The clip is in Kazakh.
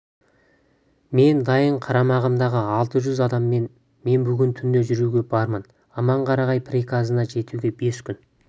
мен дайын қарамағымдағы алты жүз адаммен мен бүгін түнде жүруге бармын аманқарағай приказына жетуге бес күн